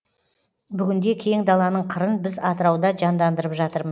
бүгінде кең даланың қырын біз атырауда жандандырып жатырмыз